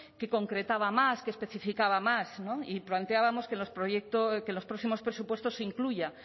que concretaba más que especificaba más y planteábamos que en los próximos presupuestos se incluya